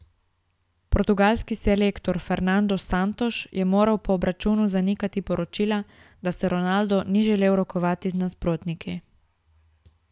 Portugalski selektor Fernando Santos je moral po obračunu zanikati poročila, da se Ronaldo ni želel rokovati z nasprotniki.